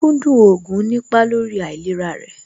Kíkókúndù oògùn nípa lórí àìlera rẹ̀